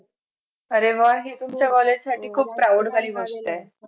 अरे वा हि तुमच्या college साठी खूप proud वाली गोष्ट हाय